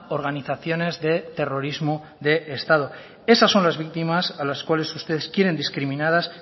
organizaciones de terrorismo de estado esas son las víctimas a las cuales ustedes quieren discriminadas